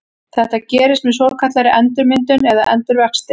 Þetta gerist með svokallaðri endurmyndun eða endurvexti.